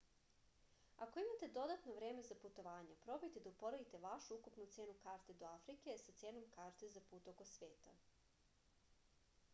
ako imate dodatno vreme za putovanja probajte da uporedite vašu ukupnu cenu karte do afrike sa cenom karte za put oko sveta